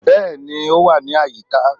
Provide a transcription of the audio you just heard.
bẹẹni o wa ní àyíká